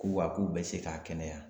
Ko wa k'u bɛ se k'a kɛnɛya